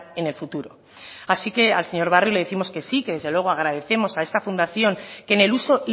en el futuro así que al señor barrio le décimos que sí que desde luego agradecemos a esta fundación que en el uso